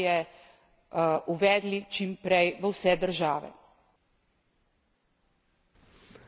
in bomo ta način finančne participacije uvedli čim prej v vse države.